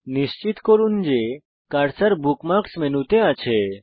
নিশ্চিত করুন যে কার্সার বুকমার্কস মেনুতে থাকে